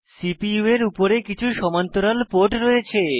CPU এর উপরে কিছু সমান্তরাল পোর্ট রয়েছে